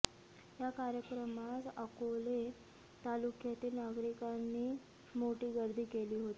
या कार्यक्रमास अकोले तालुक्यातील नागरिकांनी मोठी गर्दी केली होती